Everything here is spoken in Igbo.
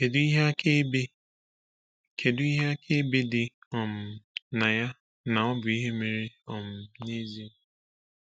Kedu ihe akaebe Kedu ihe akaebe dị um na ya na ọ bụ ihe mere um n’ezie?